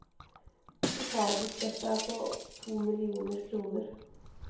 Totalbudsjettet er på to millioner kroner.